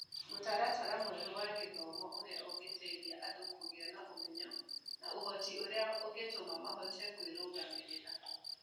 Mũtaratara mwerũ wa gĩthomo ũrĩa ũngĩteithia andũ kũgĩa na ũmenyo na ũhoti ũrĩa ũngĩtũma mahote kwĩrũgamĩrĩra.